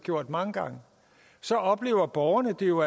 gjort mange gange oplever borgerne det jo